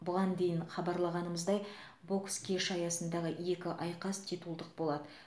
бұған дейін хабарлағанымыздай бокс кеші аясындағы екі айқас титулдық болады